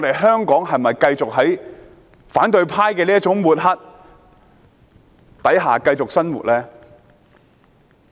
香港應否繼續在反對派這種抹黑下繼續生活？